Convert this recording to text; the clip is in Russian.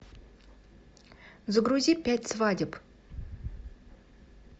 загрузи пять свадеб